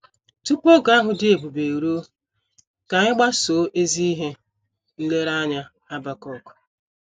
Tupu oge ahụ dị ebube eruo, ka anyị gbasoo ezi ihe nlereanya Habakuk.